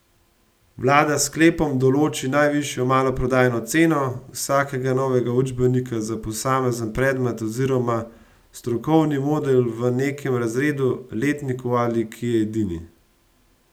Vlada s sklepom določi najvišjo maloprodajno ceno vsakega novega učbenika za posamezen predmet oziroma strokovni modul v nekem razredu, letniku ali, ki je edini.